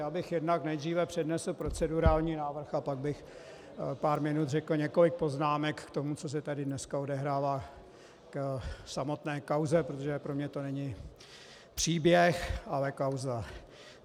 Já bych jednak nejdříve přednesl procedurální návrh a pak bych pár minut řekl několik poznámek k tomu, co se tady dneska odehrává, k samotné kauze, protože pro mě to není příběh, ale kauza.